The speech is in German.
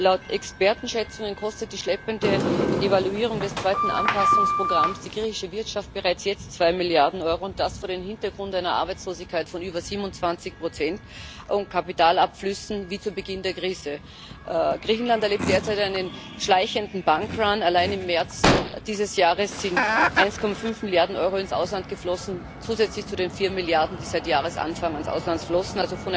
Laut Expertenschätzungen kostet die schleppende Evaluierung des zweiten Anpassungsprogramms die griechische Wirtschaft bereits jetzt zwei Milliarden Euro, und das vor dem Hintergrund einer Arbeitslosigkeit von über 27 und Kapitalabflüssen wie zu Beginn der Krise. Griechenland erlebt derzeit einen schleichenden Allein im März dieses Jahres sind 1,5 Milliarden Euro ins Ausland geflossen, zusätzlich zu den 4 Milliarden, die seit Jahresanfang ans Ausland flossen.